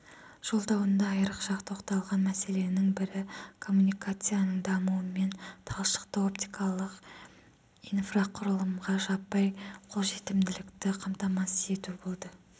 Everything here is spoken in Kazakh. жолдауында айрықша тоқталған мәселенің бірі коммуникацияның дамуы мен талшықты-оптикалық инфрақұрылымға жаппай қолжетімділікті қамтамасыз ету болды